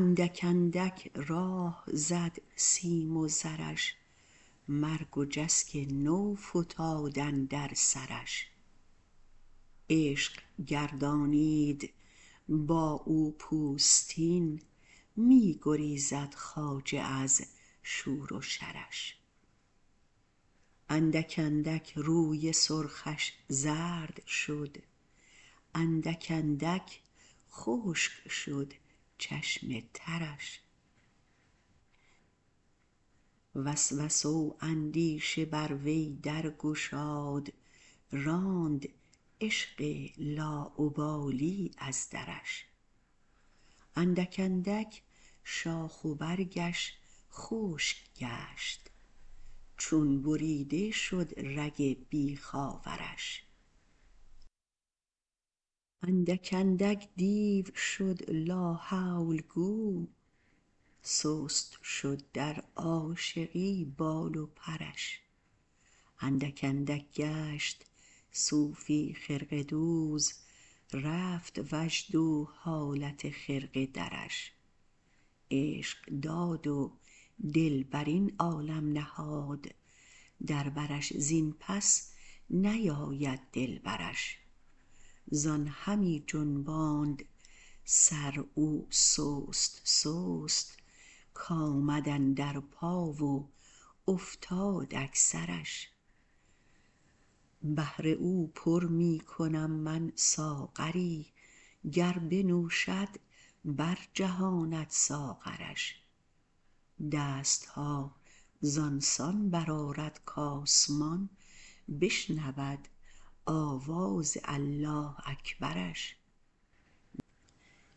اندک اندک راه زد سیم و زرش مرگ و جسک نو فتاد اندر سرش عشق گردانید با او پوستین می گریزد خواجه از شور و شرش اندک اندک روی سرخش زرد شد اندک اندک خشک شد چشم ترش وسوسه و اندیشه بر وی در گشاد راند عشق لاابالی از درش اندک اندک شاخ و برگش خشک گشت چون بریده شد رگ بیخ آورش اندک اندک دیو شد لاحول گو سست شد در عاشقی بال و پرش اندک اندک گشت صوفی خرقه دوز رفت وجد و حالت خرقه درش عشق داد و دل بر این عالم نهاد در برش زین پس نیاید دلبرش زان همی جنباند سر او سست سست کآمد اندر پا و افتاد اکثرش بهر او پر می کنم من ساغری گر بنوشد برجهاند ساغرش دست ها زان سان برآرد کآسمان بشنود آواز الله اکبرش